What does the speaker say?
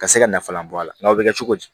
Ka se ka nafalan bɔ a la nka u bɛ kɛ cogo di